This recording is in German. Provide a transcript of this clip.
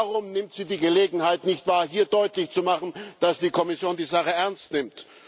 Warum nimmt sie die Gelegenheit nicht wahr, hier deutlich zu machen, dass die Kommission die Sache ernst nimmt?